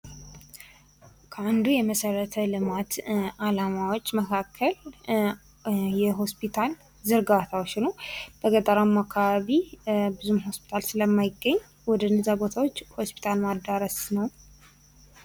ከአንዱ የመሠረታዊ ልማት ዓላማዎች መካከል የሆስፒታል ዝርጋታወች ነው በገጠራማው አካባቢ ብዙም ሆስፒታል ስለማይገኝ ወደነዚያ ቦታወች ሆስፒታል ማዳረስ ነው።